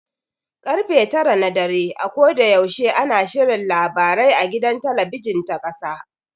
Karfe tara na dare a koda yaushe ana shirin labarai a gidan talabijin ta ƙasa.